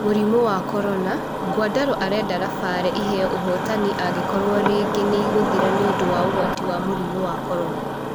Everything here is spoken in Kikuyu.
Mũrimũ wa Korona: Nguandaro arenda Lapare ĩheyo ũhotani angĩkorwo rigi nĩ ĩgũthira nĩũndũ wa ũgwati wa mũrimũ wa Korona.